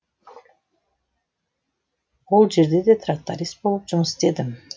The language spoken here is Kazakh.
ол жерде де тракторист болып жұмыс істедім